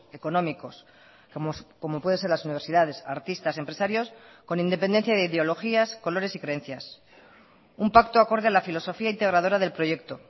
económicos como puede ser las universidades artistas empresarios con independencia de ideologías colores y creencias un pacto acorde a la filosofía integradora del proyecto